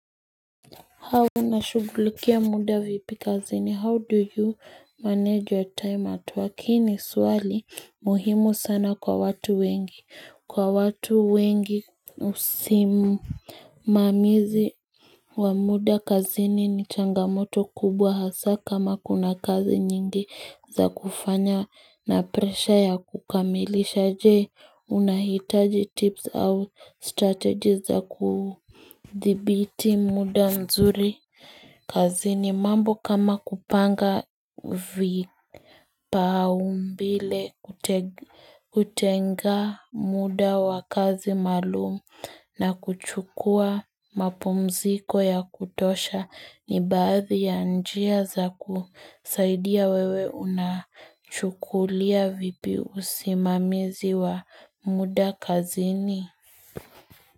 How unashugulikia muda vipi kazini how do you manage your time at work hii ni suali muhimu sana kwa watu wengi kwa watu wengi maamuzi wa muda kazini ni changamoto kubwa hasa kama kuna kazi nyingi za kufanya na presha ya kukamilisha je unahitaji tips au strategies za Dhibiti muda mzuri kazini mambo kama kupanga vipao mbele kutenga muda wa kazi maalum na kuchukua mapumziko ya kutosha ni baadhi ya njia za kusaidia wewe unachukulia vipi usimamizi wa muda kazini.